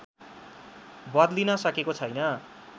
बदलिन सकेको छैन